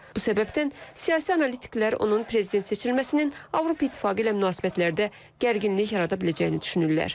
Bu səbəbdən siyasi analitiklər onun prezident seçilməsinin Avropa İttifaqı ilə münasibətlərdə gərginlik yarada biləcəyini düşünürlər.